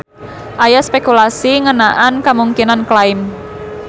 Aya spekulasi ngeunaan kamungkinan klaim.